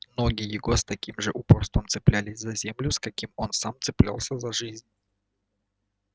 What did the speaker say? ноги его с таким же упорством цеплялись за землю с каким сам он цеплялся за жизнь